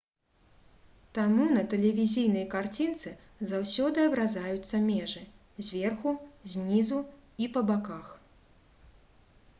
таму на тэлевізійнай карцінцы заўсёды абразаюцца межы зверху знізу і па баках